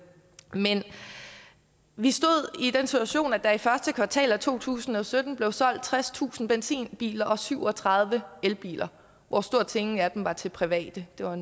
vi stod i den situation at der i første kvartal af to tusind og sytten blev solgt tredstusind benzinbiler og syv og tredive elbiler hvor stort set ingen af dem var til private det var